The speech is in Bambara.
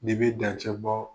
Ni bɛ dancɛ bɔ